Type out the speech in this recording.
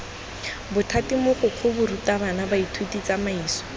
bothati mogokgo barutabana baithuti tsamaiso